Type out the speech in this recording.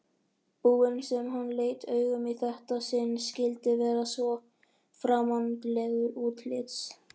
búinn sem hann leit augum í þetta sinn skyldi vera svo framandlegur útlits.